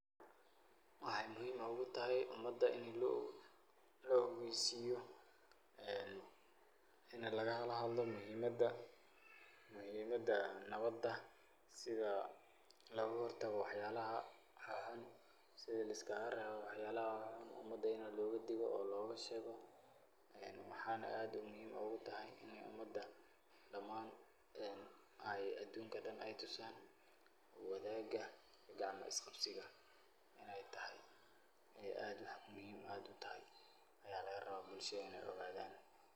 Weexey muhiim ogutahay umaada ini laogeysiyo, ini lagala hadlo muhiimada, nawaadasithii logaa hortago waax yalaaha, sithii liskaga rewo waax yalaha xuun xuun ini umaada logaa digoo,o logaa sheego, waxeyna aad muhiim ogu tahaay damaan ineey tusan wadhaaga, qacmaa isqaabsigaa ineey tahaay, inee aad waax muhiim utahaay, ayaa laga rawaa ineey bulshaada ogadhan.